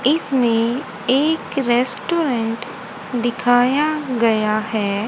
इसमें एक रेस्टोरेंट दिखाया गया है।